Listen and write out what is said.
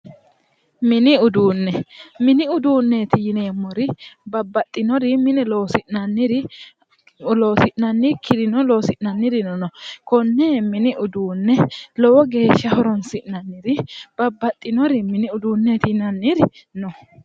Mini uduune mini uduuneeti yineemori babbaxinori mine loosi'nanire loosi'nanikirino loosi'nanirino no konni mini uduune lowo geesha horoni'sinanniri babbaxinori mini uduuneeti yinanniri no